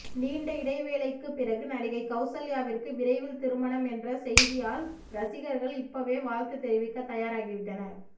நீண்ட இடைவேளைக்கு பிறகு நடிகை கவுசல்யாவிற்கு விரைவில் திருமணம் என்ற செய்தியால்ரசிகர்கள் இப்பவே வாழ்த்து தெரிவிக்க தயாரி விட்டனர்